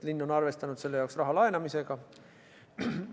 Linn on arvestanud, et selleks tuleb raha laenata.